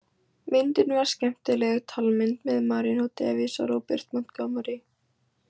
Myndin var skemmtileg talmynd með Marion Davies og Robert Montgomery.